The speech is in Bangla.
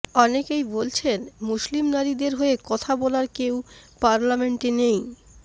অনেকেই বলছেন মুসলিম নারীদের হয়ে কথা বলার কেউ পার্লামেন্টে নেই